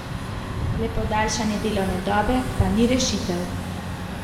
Le podaljšanje delovne dobe pa ni rešitev.